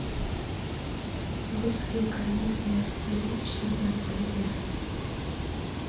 русские комедии две тысячи девятнадцатого года